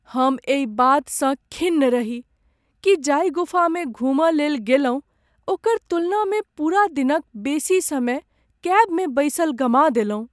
हम एहि बातसँ खिन्न रही कि जाहि गुफामे घुमय लेल गेलहुँ ओकर तुलनामे पूरा दिनक बेसी समय कैबमे बैसल गमा देलहुँ।